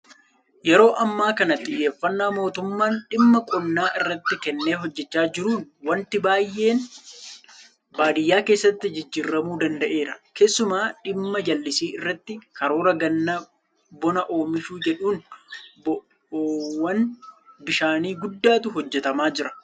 Yeroo ammaa kana xiyyeeffannaa mootummaan dhimma qonnaa irratti kennee hojjechaa jiruun waanti baay'een baadiyyaa keessatti jijjiiramuu danda'eera. Keessumaa dhimma jallisii irratti karoora gannaa bona oomishuu jedhuun bo'oowwan bishaanii guddaatu hojjetamaa jira.